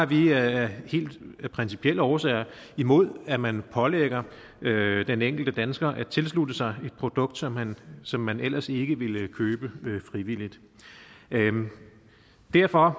vi af helt principielle årsager imod at man pålægger den enkelte dansker at tilslutte sig et produkt som man som man ellers ikke ville købe frivilligt derfor